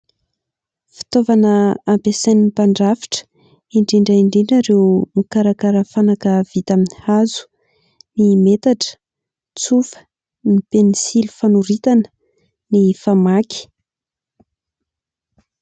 Fitaovana ampiasain'ny mpandrafitra, indrindra indrindra ireo mikarakara fanaka vita amin'ny hazo: ny metatra, tsofa, ny pensily fanoritana, ny famaky.